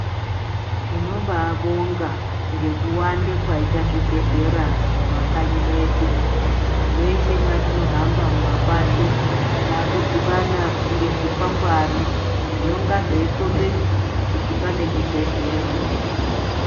Tinobaabonga ngekuwanda kwaita zvibhedhlera mundau medu mweshe mwatinohamba mumapato taakudhibana ngezvikwangwari zvinonga zveikombedza kuti pane chibhedhlera .